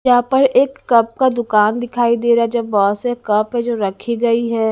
यहां पर एक कप का दुकान दिखाई दे रहा है जो बहोत से कप है जो रखी गई है।